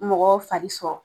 Mɔgɔ fari sɔrɔ